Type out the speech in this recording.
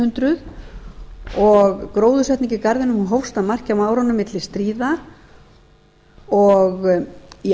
hundruð og gróðursetning í garðinum hófst að marki á árunum milli stríða og í